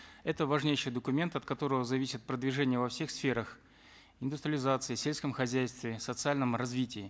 это важнейший документ от которого зависит продвижение во всех сферах индустриализации сельском хозяйстве социальном развитии